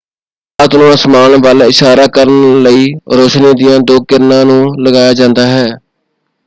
ਰਾਤ ਨੂੰ ਅਸਮਾਨ ਵੱਲ ਇਸ਼ਾਰਾ ਕਰਨ ਲਈ ਰੋਸ਼ਨੀ ਦੀਆਂ ਦੋ ਕਿਰਨਾਂ ਨੂੰ ਲਗਾਇਆ ਜਾਂਦਾ ਹੈ।